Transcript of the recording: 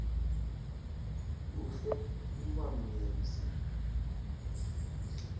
luhle iwamnye mzi